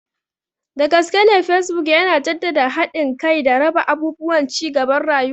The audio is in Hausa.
Dagaskene Facebook yana jaddada haɗin kai da raba abubuwan cigaban rayuwa.